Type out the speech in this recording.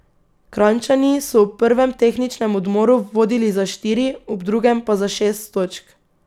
Kranjčani so ob prvem tehničnem odmoru vodili za štiri, ob drugem pa za šest točk.